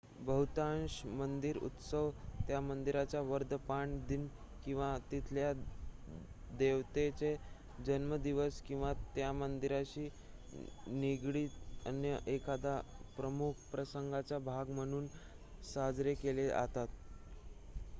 बहुतांश मंदिर उत्सव त्या मंदिराचा वर्धनपान दिन किंवा तिथल्या देवतेचा जन्मदिवस किंवा त्या मंदिराशी निगडीत अन्य एखादा प्रमुख प्रसंगाचा भाग म्हणून साजरे केले जातात